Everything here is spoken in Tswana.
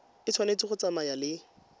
e tshwanetse go tsamaya le